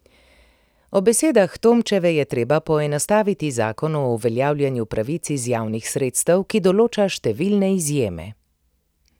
Po besedah Tomčeve je treba poenostaviti zakon o uveljavljanju pravic iz javnih sredstev, ki določa številne izjeme.